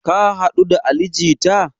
Ka haɗu da ali jita?